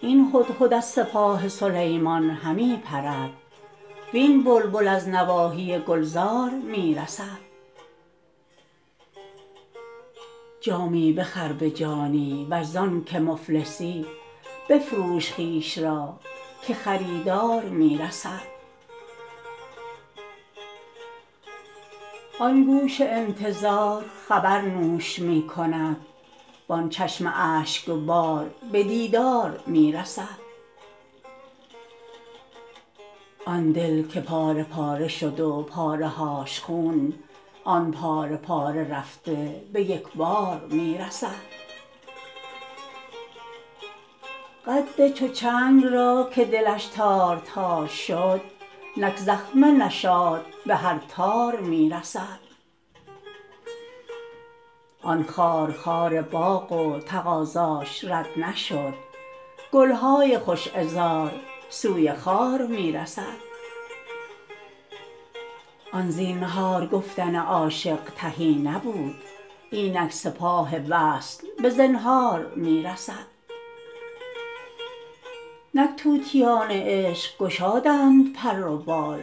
این هدهد از سپاه سلیمان همی پرد وین بلبل از نواحی گلزار می رسد جامی بخر به جانی ور زانک مفلسی بفروش خویش را که خریدار می رسد آن گوش انتظار خبر نوش می کند وان چشم اشکبار به دیدار می رسد آن دل که پاره پاره شد و پاره هاش خون آن پاره پاره رفته به یک بار می رسد قد چو چنگ را که دلش تار تار شد نک زخمه نشاط به هر تار می رسد آن خارخار باغ و تقاضاش رد نشد گل های خوش عذار سوی خار می رسد آن زینهار گفتن عاشق تهی نبود اینک سپاه وصل به زنهار می رسد نک طوطیان عشق گشادند پر و بال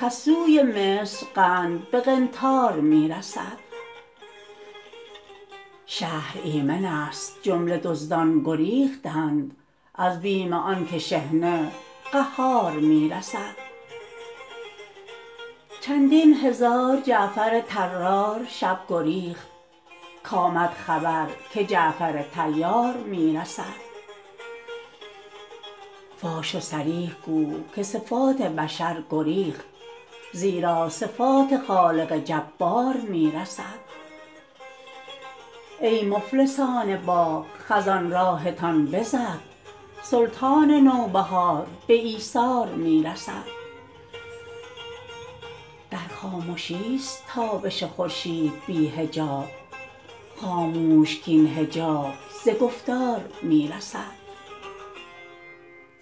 کز سوی مصر قند به قنطار می رسد شهر ایمنست جمله دزدان گریختند از بیم آنک شحنه قهار می رسد چندین هزار جعفر طرار شب گریخت کآمد خبر که جعفر طیار می رسد فاش و صریح گو که صفات بشر گریخت زیرا صفات خالق جبار می رسد ای مفلسان باغ خزان راهتان بزد سلطان نوبهار به ایثار می رسد در خامشیست تابش خورشید بی حجاب خاموش کاین حجاب ز گفتار می رسد